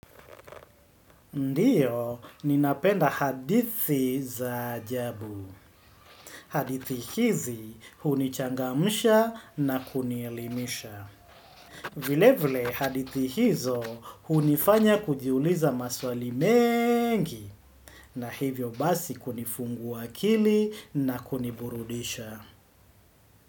Ndio, ninapenda hadithi za ajabu. Hadithi hizi hunichangamsha na kunielimisha. Vile vile hadithi hizo hunifanya kujiuliza maswali mengi. Na hivyo basi kunifungua akili na kuniburudisha.